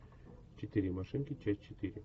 четыре машинки часть четыре